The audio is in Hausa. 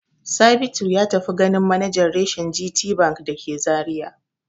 Sabitu ya tafi ganin manajan reshen GTBank da ke Zariya.